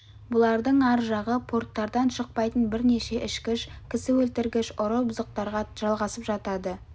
бұлардың ар жағы порттардан шықпайтын бірнеше ішкіш кісі өлтіргіш ұры бұзықтарға жалғасып жатады